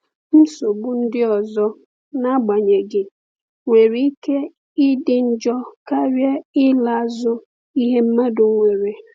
Nsogbu ndị ọzọ, n’agbanyeghị, nwere ike ịdị njọ karịa ịla azụ ihe mmadụ nwere.